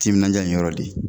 Timinanja in yɔrɔ de